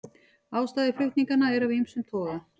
Ástæður flutninganna eru af ýmsum toga